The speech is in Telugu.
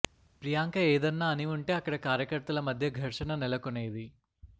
ప్రియాంక ఏదన్నా అని ఉంటే అక్కడ కార్యకర్తల మధ్య ఘర్షణ నెలకొనేది